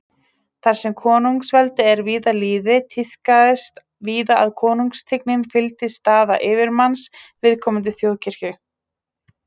Þar sem konungsveldi er við lýði, tíðkast víða að konungstigninni fylgi staða yfirmanns viðkomandi þjóðkirkju.